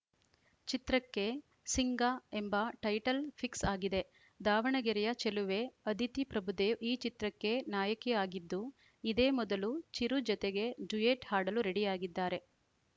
ಚಿತ್ರಕ್ಕೆ ಸಿಂಗಎಂಬ title fix ಆಗಿದೆ ದಾವಣಗೆರೆಯ ಚೆಲುವೆ ಅದಿತಿ ಪ್ರಭುದೇವ್‌ ಈ ಚಿತ್ರಕ್ಕೆ ನಾಯಕಿ ಆಗಿದ್ದು ಇದೇ ಮೊದಲು ಚಿರು ಜತೆಗೆ ಡ್ಯುಯೆಟ್‌ ಹಾಡಲು ರೆಡಿ ಆಗಿದ್ದಾರೆ